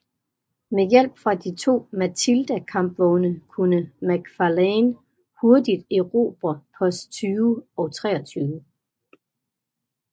Med hjælp fra de to Matilda kampvogne kunne Macfarlane hurtigt erobre Post 20 og 23